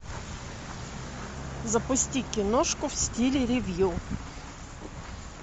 запусти киношку в стиле ревью